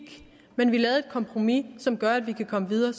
men vi lavede et kompromis som gør at vi kan komme videre